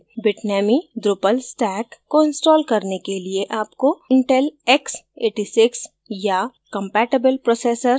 bitnami drupal stack को install करने के लिए आपको intel x86 या compatible processor